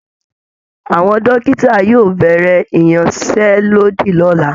Àwọn dòkìtà yóò bẹ̀rẹ̀ ìyanṣẹ́lódì lọ́la